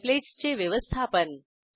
templates चे व्यवस्थापन